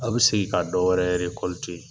Aw bɛ segin ka dɔ wɛrɛ .